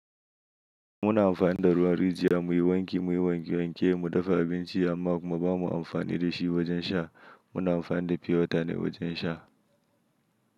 Muna amfani da ruwan rijiya muyi wanki, muyi wankewanke, mu dafa abinci amma kuma ba mu amfani da shi wajen sha. Muna amfani da pure water ne wajen sha.